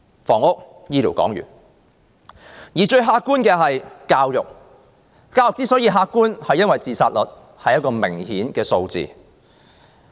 談完房屋和醫療，最客觀的是教育。教育之所以客觀，是因為學生自殺數目是明確的數字。